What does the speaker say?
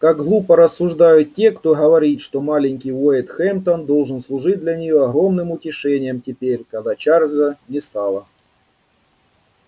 как глупо рассуждают те кто говорит что маленький уэйд хэмптон должен служить для неё огромным утешением теперь когда чарльза не стало